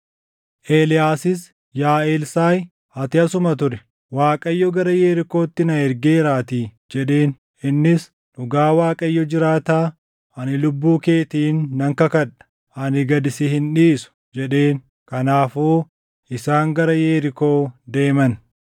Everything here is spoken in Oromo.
Eeliyaasis “Yaa Elsaaʼi, ati asuma turi; Waaqayyo gara Yerikootti na ergeeraatii” jedheen. Innis, “Dhugaa Waaqayyo jiraataa, ani lubbuu keetiin nan kakadha; ani gad si hin dhiisu” jedheen. Kanaafuu isaan gara Yerikoo deeman.